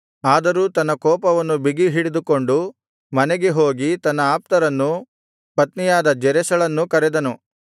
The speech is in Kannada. ಆದರೂ ತನ್ನ ಕೋಪವನ್ನು ಬಿಗಿಹಿಡಿದುಕೊಂಡು ಮನೆಗೆ ಹೋಗಿ ತನ್ನ ಆಪ್ತರನ್ನೂ ಪತ್ನಿಯಾದ ಜೆರೆಷಳನ್ನೂ ಕರೆದನು